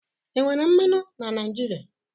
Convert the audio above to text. Enwere mmanụ na Naijiria?